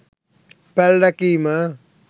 පැල් රැකීම